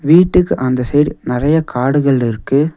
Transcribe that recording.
வீட்டுக்கு அந்த சைட் நறைய காடுகள் இருக்கு.